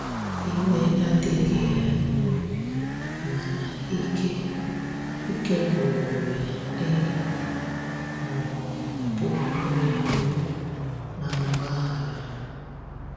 iwe adighi ya n'obi, mana ike ike gwụrụ ya ị um bụ onye mbu na agbaghara